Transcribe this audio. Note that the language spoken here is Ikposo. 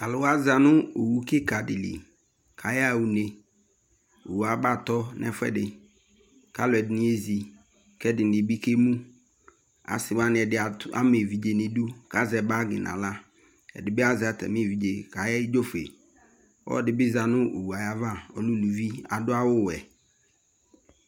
Talʋwa zanʋ owu kikaɖili k'ayaɣa uneOwu abatɔ nɛ fueɖi k'alʋɛɖini ezi k'ɛɖini bi k'emuAasiwaɖi ama evidze n'ɖʋ,k'azɛ bagi n'aɣlaƐɖibi azɛ atɛmie vidze k'ayedzofueƆlɔɖibi za nʋ owu aya va kʋ ɔlɛ ulʋvi aɖʋ awu wue